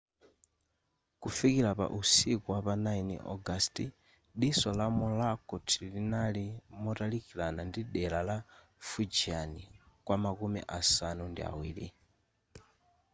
kufikila pa usiku wapa 9 ogasiti diso la morakot linali motalikilana ndi dela la fujian kwamakumi asanu ndi awiri